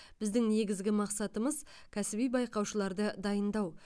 біздің негізгі мақсатымыз кәсіби байқаушыларды дайындау